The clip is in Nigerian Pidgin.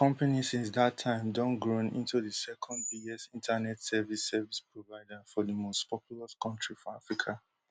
di company since dat time don grown into di secondbiggest internet service service provider for di mostpopulous kontri for africa